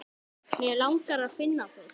Mig langar að finna þig.